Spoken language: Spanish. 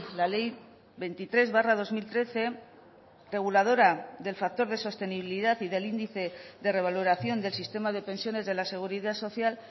la ley veintitrés barra dos mil trece reguladora del factor de sostenibilidad y del índice de revaloración del sistema de pensiones de la seguridad social